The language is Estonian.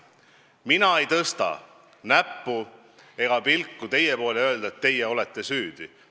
Mina ei tõsta näppu ega pilku teie poole, et öelda, et teie olete süüdi.